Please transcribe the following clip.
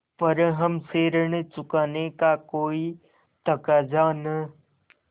पर हमसे ऋण चुकाने का कोई तकाजा न